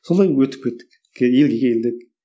солай өтіп кеттік елге келгенде